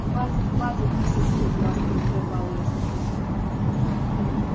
хватит хватит миссис мид ласково прервал её супруг